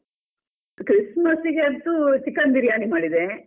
Christmas ಗೆ ಅಂತು chicken biryani ಮಾಡಿದೆ.